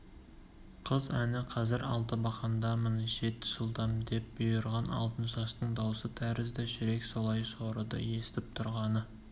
қыз әні қазір алтыбақандамын жет жылдам деп бұйырған алтыншаштың даусы тәрізді жүрек солай жорыды естіп тұрғаны